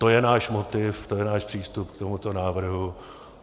To je náš motiv, to je náš přístup k tomuto návrhu.